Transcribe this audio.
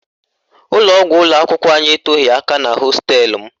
Ụlọgwụ ụlọakwụkwọ anyị etoghi aka na hosteelụ m